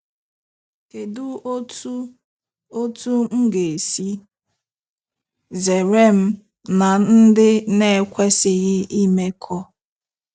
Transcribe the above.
Kedụ Otú Otú m ga-esi zere m na ndị na-ekwesighi imekọ?